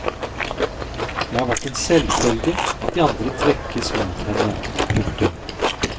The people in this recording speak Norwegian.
Det har vært en selvfølge at de andre trekkes mot henne. punktum